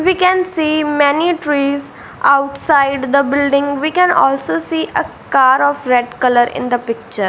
we can see many trees outside the building we can also see a car of red colour in the picture.